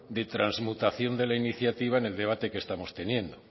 de transmutación de la iniciativa en el debate que estamos teniendo